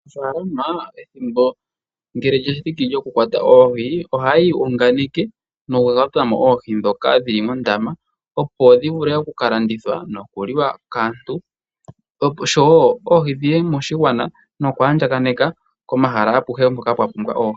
Aanafaalama ethimbo ngele lya thiki lyoku kwata oohi, ohaya iyunganeke noku kwata mo oohi ndhoka dhili mondama opo dhi vule oku ka landithwa noku liwa kaantu oshowo oohi dhiye moshigwana noku ka andjaganeka komahala akuhe hoka kwa pumbwa oohi.